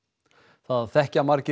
það þekkja margir